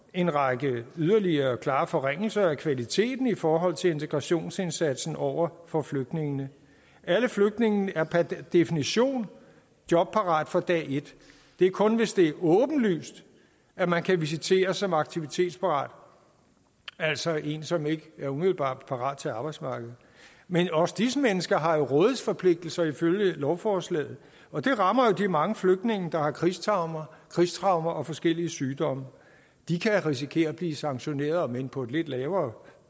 en række yderligere klare forringelser af kvaliteten i forhold til integrationsindsatsen over for flygtningene alle flygtninge er per definition jobparate fra dag et det er kun hvis det er åbenlyst at man kan visiteres som aktivitetsparat altså en som ikke umiddelbart er parat til arbejdsmarkedet men også disse mennesker har rådighedsforpligtelse ifølge lovforslaget og det rammer jo de mange flygtninge der har krigstraumer krigstraumer og forskellige sygdomme de kan risikere at blive sanktioneret om end på et lidt lavere